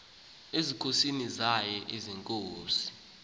ezinkosini zaye iinkosi